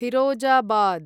Firozabad